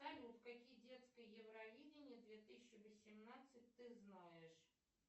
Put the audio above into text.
салют какие детское евровидение две тысячи восемнадцать ты знаешь